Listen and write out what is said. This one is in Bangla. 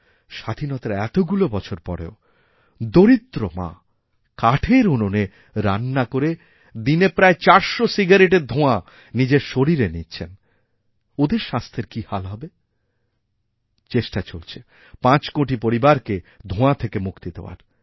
স্বাধীনতার এতগুলো বছর পরেওদরিদ্র মা কাঠের উনুনে রান্না করে দিনে প্রায় চারশো সিগারেটের ধোঁয়া নিজের শরীরেনিচ্ছেন ওঁদের স্বাস্থ্যের কী হাল হবে চেষ্টা চলছে ৫ কোটি পরিবারকে ধোঁয়া থেকেমুক্তি দেওয়ার